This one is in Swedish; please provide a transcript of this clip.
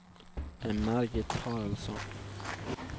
Margit Haraldsson